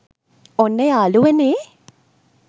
ඔන්න යාළුවනේ